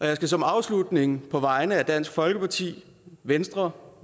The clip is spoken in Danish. jeg skal som afslutning på vegne af dansk folkeparti venstre